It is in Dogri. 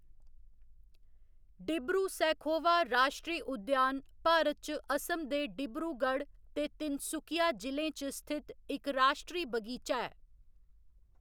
डिब्रू सैखोवा राश्ट्री उद्यान भारत च असम दे डिब्रूगढ़ ते तिनसुकिया जि'लें च स्थित इक राश्ट्री बगीचा ऐ।